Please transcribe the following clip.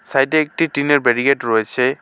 সাইডে একটি টিনের বেরিকেট রয়েছে।